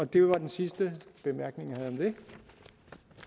det var den sidste bemærkning